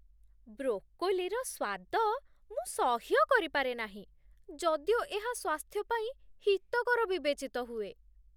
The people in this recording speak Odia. ବ୍ରୋକୋଲିର ସ୍ୱାଦ ମୁଁ ସହ୍ୟ କରିପାରେ ନାହିଁ, ଯଦିଓ ଏହା ସ୍ୱାସ୍ଥ୍ୟ ପାଇଁ ହିତକର ବିବେଚିତ ହୁଏ।